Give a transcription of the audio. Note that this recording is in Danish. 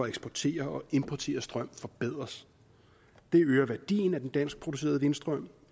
eksportere og importere strøm forbedres det øger værdien af den danskproducerede vindstrøm